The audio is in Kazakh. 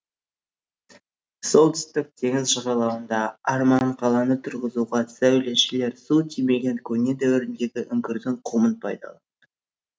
солтүстік теңіз жағалауында арман қаланы тұрғызуға сәулетшілер су тимеген көне дәуірдегі үңгірдің құмын пайдаланған